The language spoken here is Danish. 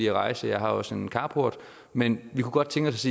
at rejse jeg har også en carport men vi kunne godt tænke os